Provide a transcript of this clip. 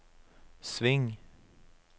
sving